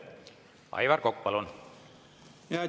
Aivar Kokk, palun!